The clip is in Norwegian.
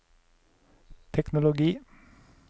teknologi